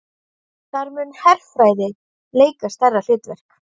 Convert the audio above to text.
Þar muni herfræði leika stærra hlutverk